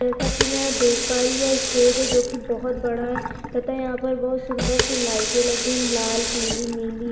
जैसा की मै या देख पा रही है ये स्टेज है जो की बहोत बड़ा है तथा यहाँ पर बहुत सुंदर सि लाइटे लगिन लाल पीली नीली।